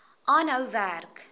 aanhou werk